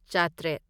ꯆꯥꯇ꯭꯭ꯔꯦꯠ